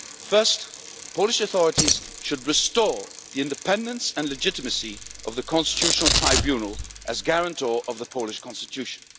First, the Polish authorities should restore the independence and legitimacy of the Constitutional Tribunal as guarantor of the Polish Constitution.